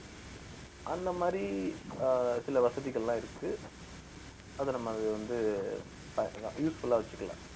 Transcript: அந்த மாதிரி அஹ் சில வசதிகள்லாம் இருக்கு அத நம்ம அது வந்து useful ஆ வச்சுக்கலாம்